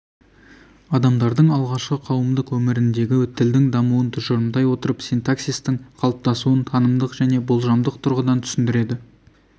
адамдардың алғашқы қауымдық өміріндегі тілдің дамуын тұжырымдай отырып синтаксистің қалыптасуын танымдық және болжамдық тұрғыдан түсіндіреді